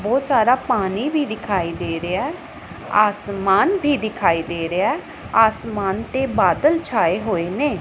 ਬਹੁਤ ਸਾਰਾ ਪਾਣੀ ਵੀ ਦਿਖਾਈ ਦੇ ਰਿਹਾ ਐ ਆਸਮਾਨ ਵੀ ਦਿਖਾਈ ਦੇ ਰਿਹੈ ਆਸਮਾਨ ਤੇ ਬਾਦਲ ਛਾਏ ਹੋਏ ਨੇ।